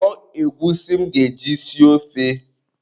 Kwọọ egwusi m ga-eji sie ofe.